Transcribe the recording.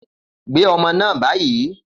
Gbé ọmọ náà báyìí